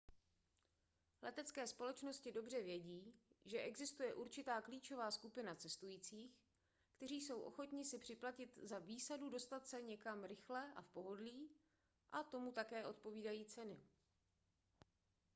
letecké společnosti dobře vědí že existuje určitá klíčová skupina cestujících kteří jsou ochotni si připlatit za výsadu dostat se někam rychle a v pohodlí a tomu také odpovídají ceny